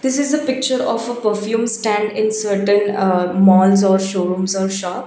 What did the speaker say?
this is a picture of a perfume stand in certain uh malls or showrooms or shop.